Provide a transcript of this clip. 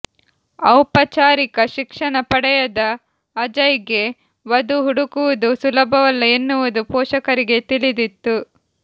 ಔಪಚಾರಿಕ ಶಿಕ್ಷಣ ಪಡೆಯದ ಅಜಯ್ಗೆ ವಧು ಹುಡುಕುವುದು ಸುಲಭವಲ್ಲ ಎನ್ನುವುದು ಪೋಷಕರಿಗೆ ತಿಳಿದಿತ್ತು